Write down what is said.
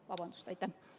Vabandust!